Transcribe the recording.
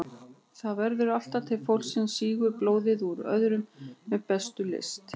Það verður alltaf til fólk sem sýgur blóðið úr öðrum með bestu lyst.